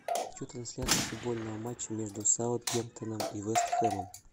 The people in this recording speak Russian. хочу трансляцию футбольного матча между саутгемптоном и вест хэмом